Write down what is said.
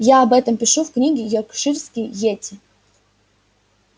я об этом пишу в книге йоркширские йети